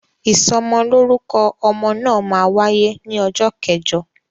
Ìsọmọlórúkọ ọmọ náà máa wáyé ní ọjọ́ kẹjọ